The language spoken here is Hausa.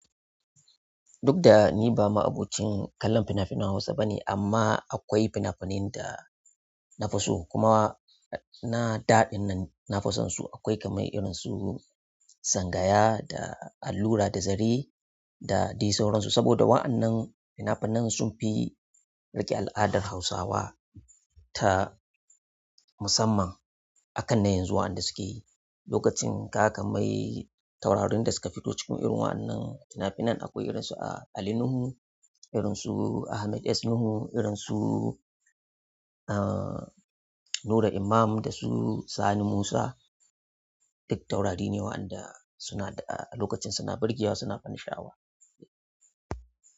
Duk da ni ba ma'abocin kallon finafinan hausa bane amma akwai finafinan da na fi so kuma na da ɗinnan na fi sonsu. Akwai kamar irin su sangaya da allura da zare da dai sauransu. Saboda wa'annan fina-finan sun fi riƙe al'adar Hausawa ta musamman akan na yanzu waɗanda suke. Lokacin kaga kamar taurarin da suka fito cikin irin wa'annan fina-finan akwai irin su Ali Nuhu, irin su Ahmed S. Nuhu, irin su, ah, Nura Imam da su Sani Musa. Duk taurari ne waɗanda suna da a lokacin suna birgewa suna bansha'a wa.